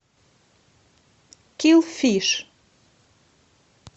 килл фиш